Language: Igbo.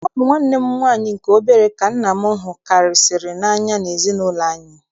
Ọ bụ nwanne m nwaanyị nke obere ka nna m hukarịsịrị n'anya n'ezinaụlọ anyị.